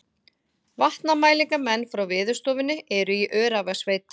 Vatnamælingamenn frá Veðurstofunni eru í Öræfasveit